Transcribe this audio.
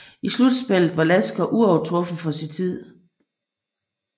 I slutspillet var Lasker uovertruffen for sin tid